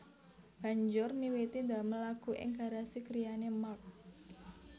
Banjur miwiti damel lagu ing garasi griyane Mark